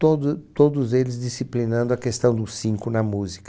Todo todos eles disciplinando a questão do cinco na música.